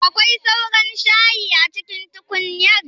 Akwai sauran shayi a cikin tukunyar?